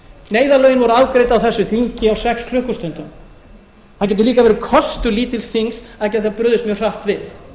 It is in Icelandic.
neyðarlögin voru afgreidd á þessu þingi á sex klukkustundum það getur líka verið kostur lítils þings að geta brugðist mjög hratt við